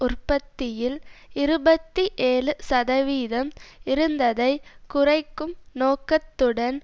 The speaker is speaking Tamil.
உற்பத்தியில் இருபத்தி ஏழு சதவீதம் இருந்ததை குறைக்கும் நோக்கத்துடன்